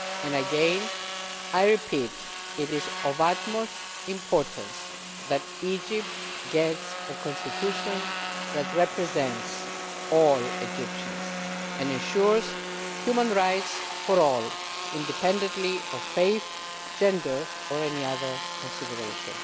Again, I repeat that it is of the utmost importance that Egypt gets a constitution that represents all Egyptians and ensures human rights for all, independently of faith, gender or any other consideration.